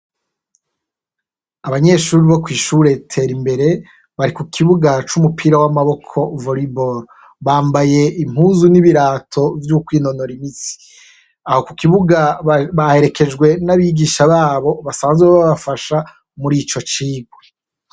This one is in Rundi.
Abanyeshure bo kw'ishure Terimbere bari ku kibuga c'umupira w'amaboko volleyball. Bambaye impuzu n'ibirato vyo kwinonora imitsi. Aho ku kibuga baherekejwe n'abigisha babo basanzwe babafasha mur'ico cigwa.